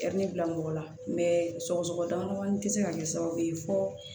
bila mɔgɔ la sɔgɔsɔgɔ damadamanin tɛ se ka kɛ sababu ye fo